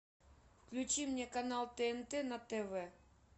включи мне канал тнт на тв